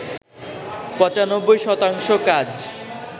৯৫ শতাংশ কাজ